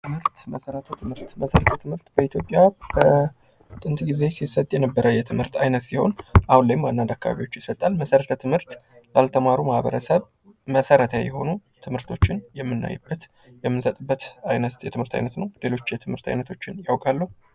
መሰረተ ትምህርት ፦ መሰረተ ትምህርት በኢትዮጵያ በጥንት ጊዜ ይሰጥ የነበረ የትምህርት አይነት ሲሆን አሁን ላይም አንዳንድ አካባቢዎች ላይ ይሰጣል ። መሰረተ ትምህርት ላልተማሩ ማህበረሰብ መሰረታዊ የሆኑ ትምህርቶችን የምናይበት ፣ የምንሰጥበት አይነት የትምህርት ዓይነት ነው ። ሌሎች የትምህርት አይነቶችን ያውቃሉ ?